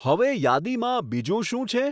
હવે યાદીમાં બીજું શું છે